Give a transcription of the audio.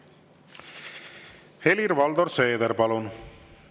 Helir-Valdor Seeder, palun!